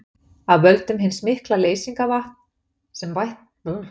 Af völdum hins mikla leysingarvatns, sem bættist í heimshöfin, hækkaði sjávarborðið ört.